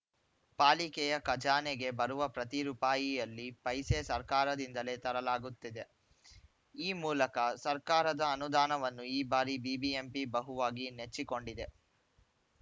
ಪಾಲಿಕೆಯ ಖಜಾನೆಗೆ ಬರುವ ಪ್ರತಿ ರೂಪಾಯಿಯಲ್ಲಿ ಪೈಸೆ ಸರ್ಕಾರದಿಂದಲೇ ತರಲಾಗುತ್ತಿದೆ ಈ ಮೂಲಕ ಸರ್ಕಾರದ ಅನುದಾನವನ್ನು ಈ ಬಾರಿ ಬಿಬಿಎಂಪಿ ಬಹುವಾಗಿ ನೆಚ್ಚಿಕೊಂಡಿದೆ